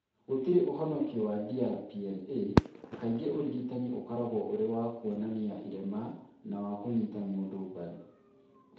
Gũtirĩ ũhonokio wa DRPLA; kaingĩ ũrigitani ũkoragwo ũrĩ wa kuonania irema na wa kũnyita mũndũ mbaru.